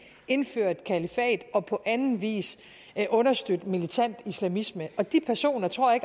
indføre et kalifat og på anden vis understøtte militant islamisme og de personer tror jeg